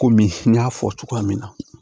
Komi n y'a fɔ cogoya min na